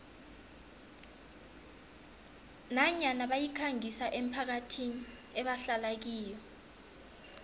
nanyana bayikhangisa emphakathini ebahlala kiyo